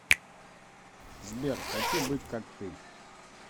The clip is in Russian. сбер хочу быть как ты